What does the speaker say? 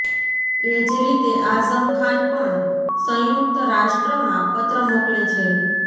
એ જ રીતે આઝમ ખાન પણ સંયુક્ત રાષ્ટ્રમાં પત્ર મોકલે છે